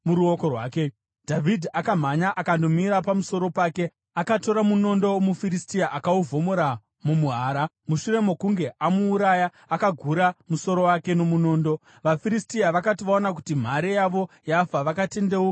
Dhavhidhi akamhanya akandomira pamusoro pake. Akatora munondo womuFiristia akauvhomora mumuhara. Mushure mokunge amuuraya, akagura musoro wake nomunondo. VaFiristia vakati vaona kuti mhare yavo yafa, vakatendeuka vakatiza.